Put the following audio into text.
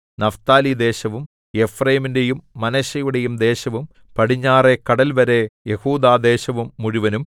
നഫ്താലിദേശവും എഫ്രയീമിന്റെയും മനശ്ശെയുടെയും ദേശവും പടിഞ്ഞാറെ കടൽവരെ യെഹൂദാദേശം മുഴുവനും